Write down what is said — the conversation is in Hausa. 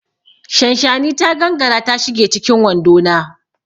Shanshani ta gangara ta shige cikin wando na.